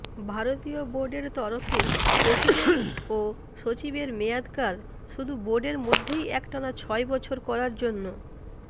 ভারতীয় বোর্ডের তরফে প্রেসিডেন্ট ও সচিবের মেয়াদকাল শুধু বোর্ডের মধ্যেই একটানা ছয় বছর করার জন্য